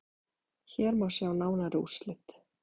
Hér má sjá nánari úrslit.